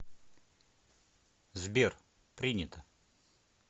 сбер принято